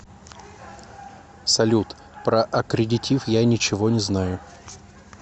салют про аккредитив я ничего не знаю